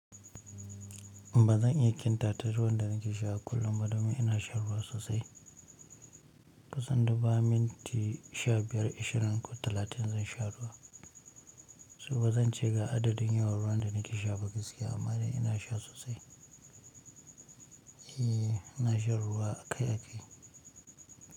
Ba zan iya ƙkn tatar ruwan da nake sha a kullum ba domin ina shan ruwa sosai. Kusan du bayan minti sha biyar ashirin ko talatin zan sha ruwa. So bazan ce ga adadin yawan ruwan da nake sha ba gaskiya amma dai ina sha sosai. E, ina shan ruwa akai-akai.